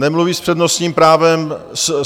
Nemluví s přednostním právem.